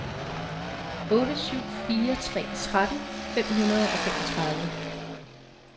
otte syv fire tre tretten fem hundrede og femogtredive